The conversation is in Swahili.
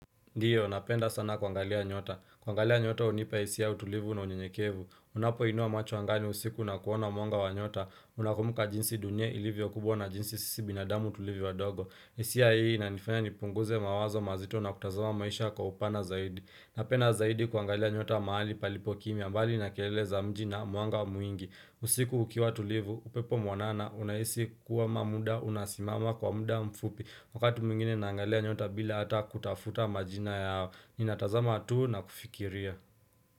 Ndiyo, napenda sana kuangalia nyota. Kuangalia nyota hunipa hisia ya utulivu na unyenyekevu. Unapo inua machu angani usiku na kuona mwanga wa nyota. Unakumbuka jinsi dunia ilivyo kubwa na jinsi sisi binadamu tulivyo wadogo. Inanifanya nipunguze mawazo mazito na kutazama maisha kwa upana zaidi Napenda zaidi kuangalia nyota mahali palipo kimya mbali na kelele za mji na mwanga mwingi usiku ukiwa tulivu, upepo mwanana unahisi kuwa muda unasimama kwa muda mfupi Wakati mwingine naangalia nyota bila hata kutafuta majina yao Ninatazama tu na kufikiria.